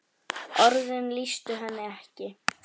Orðin lýstu henni ekki.